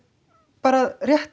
bara